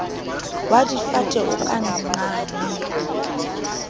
wa difate o ka nqane